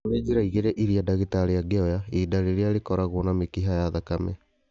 Nĩkũrĩ njĩra igĩrĩ irĩa ndagĩtarĩ angĩoya ihĩndĩ rĩrĩa rĩkoragwo na mĩkiha ya thakame